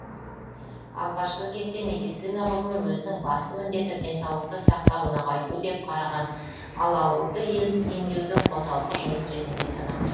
алғашқы кезде медицина ғылымы өзінің басты міндеті денсаулықты сақтау нығайту деп қараған ал ауруды емдеуді қосалқы жұмыс ретінде санаған